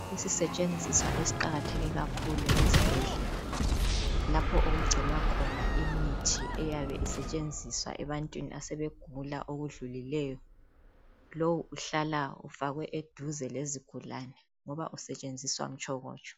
Isisetshenziswa esiqakatheke kakhulu ezibhedlela, lapho okugcinwa khona imithi eyabe isetshenziswa ebantwini asebegula okudlulileyo lowu uhlala ufakwe eduze lezigulani ngoba usetshenziswa mtshokotsho.